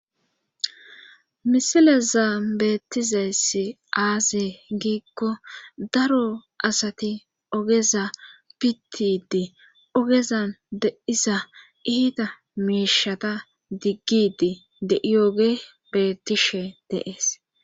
misileza beettizayssi aaze giikko daro asati ogeza pittidi ogezan deiza iita miishata diggidi de7ioge beettishe de7es